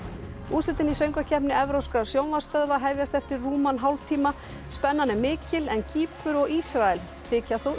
úrslitin í Söngvakeppni evrópskra sjónvarpsstöðva hefjast eftir rúman hálftíma spennan er mikil en Kýpur og Ísrael þykja þó